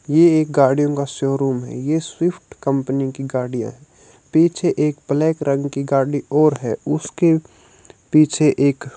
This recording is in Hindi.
ये एक गाड़ियों का शोरूम है ये स्विफ्ट कंपनी की गाड़ी है पीछे एक ब्लैक रंग की गाड़ी और है उसके पीछे एक --